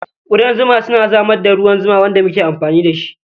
Ƙudan zuma suna samar da ruwan zuma wanda muke amfani da shi.